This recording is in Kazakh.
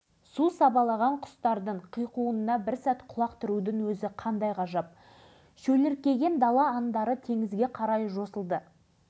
кіші аралға су келе бастады кіші аралға су толды сумен бірге тіршілік келді балықтар көбейе түсті